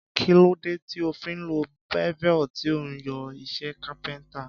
Kí ló dé tí o fi ń lo bevel tí ó ń yọ iṣẹ́ kápẹ́ntà?